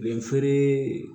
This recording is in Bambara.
Den feere